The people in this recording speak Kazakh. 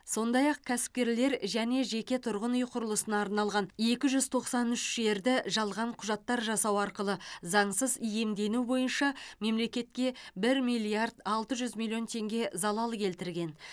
сондай ақ кәсіпкерлер және жеке тұрғын үй құрылысына арналған екі жүз тоқсан үш жерді жалған құжаттар жасау арқылы заңсыз иемдену бойынша мемлекетке бір миллиард алты жүз миллион теңге залал келтірген